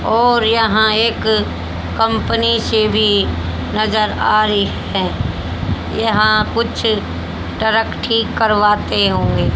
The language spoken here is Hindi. और यहां एक कंपनी से भी नजर आ रही है यहां कुछ टरक ठीक करवाते हुए--